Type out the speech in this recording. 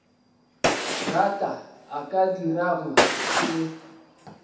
rata a ka dirago se